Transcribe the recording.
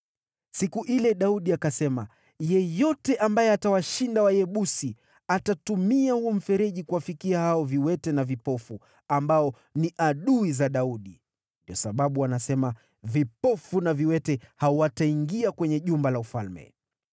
Siku ile, Daudi akasema, “Yeyote ambaye atawashinda Wayebusi, atatumia huo mfereji kuwafikia hao ‘viwete na vipofu’ ambao ni adui za Daudi.” Ndiyo sababu wanasema, “ ‘Vipofu na viwete’ hawataingia kwenye jumba la ufalme.”